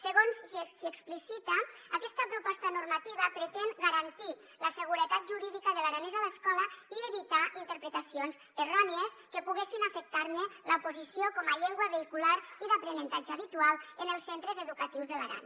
segons s’hi explicita aquesta proposta normativa pretén garantir la seguretat jurídica de l’aranès a l’escola i evitar interpretacions errònies que poguessin afectarne la posició com a llengua vehicular i d’aprenentatge habitual en els centres educatius de l’aran